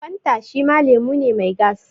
Fanta shima lemu ne mai gas